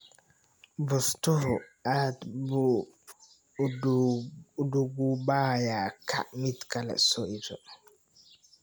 Bustuhu aad buu u duugoobayaa, kaac mid kale soo iibso.